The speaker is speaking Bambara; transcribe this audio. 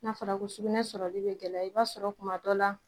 Na fɔra ko sugunɛ sɔrɔli bɛ gɛlɛya, i b'a sɔrɔ kuma dɔ la